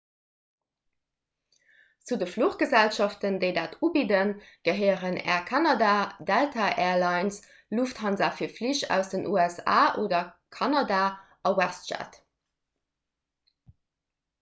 zu de fluchgesellschaften déi dat ubidden gehéieren air canada delta air lines lufthansa fir flich aus den usa oder kanada a westjet